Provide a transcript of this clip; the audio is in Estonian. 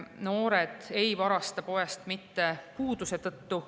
Noored ei varasta poest puuduse tõttu.